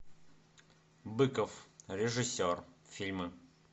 быков режиссер фильмы